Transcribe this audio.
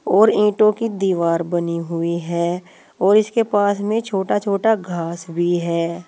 और ईंटों की दीवार बनी हुई है और इसके पास में छोटा छोटा घास भी है।